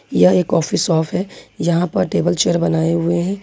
यह एक coffee shop है यहां प टेबल चेयर बनाए हुए हैं।